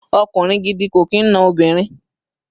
Okunrin gidi ko kin no obinrin